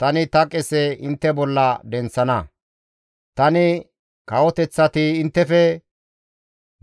tani ta qese intte bolla denththana; tani kawoteththati inttefe